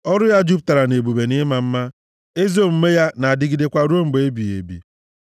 Ọrụ ya jupụtara nʼebube na ịma mma, ezi omume ya na-adịgidekwa ruo mgbe ebighị ebi.